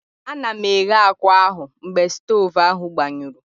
Anọ m na-eghe akwa ahụ mgbe stovu ahụ gbanyụrụ.